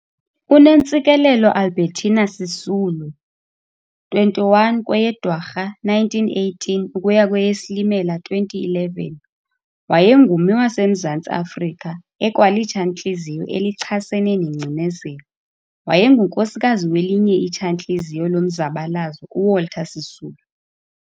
UNontsikelelo Albetina Sisulu, 21 kweyeDwarha 1918 ukuya kweyeSilimela 2011, wayengummi waseMzantsi Afrika ekwalitshantliziyo elichasene nengcinezelo, wayengunkosikazi welinye itshantliziyo lomzabalazo uWalter Sisulu.